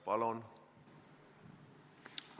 Palun!